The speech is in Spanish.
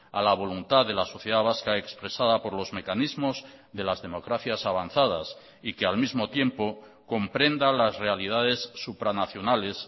a la voluntad de la sociedad vasca expresada por los mecanismos de las democracias avanzadas y que al mismo tiempo comprenda las realidades supranacionales